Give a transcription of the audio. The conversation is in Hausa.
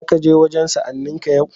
Za ka je wajen sa'anninka yau?